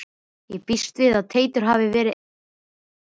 Ég býst við að Teitur hafi verið einn af þeim.